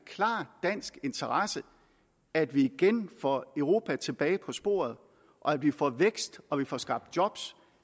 dansk interesse at vi igen får europa tilbage på sporet at vi får vækst og at vi får skabt job